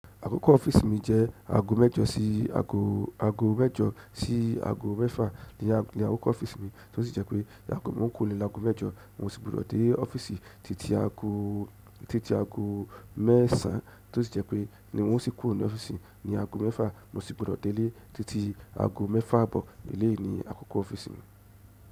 Àkókò ọ́fíìsì mi jẹ́ aago mẹ́jọ sí aago, aago mẹ́jọ sí aago mẹ́fà ni àkókò ọ́fíìsì mi tó sì jẹ́ pé, ko to di aago mẹ́jọ wọn sì gbòdọ̀ dé ọ́fíìsì titi aago, titi aago mẹ́sàn án tó sì jẹ́ pé ni o sì kúrò ní ọ́fíìsì ní aago mẹ́fà mo sì gbudọ̀ délé titi aago mẹ́fà àbọ̀. Eléèyi ni àkókò ọ́fíìsì mi.